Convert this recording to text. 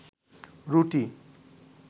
রুটি